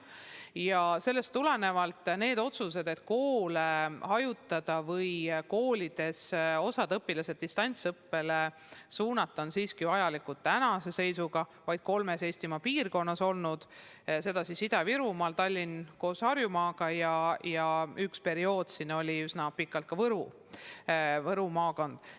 Ja sellest tulenevalt otsus koolides õpet hajutada või koolides osa õpilasi distantsõppele suunata on siiski vajalik olnud vaid kolmes Eestimaa piirkonnas: Ida-Virumaa, Tallinn koos Harjumaaga ja ühel perioodil oli selline üsna pikalt ka Võru maakond.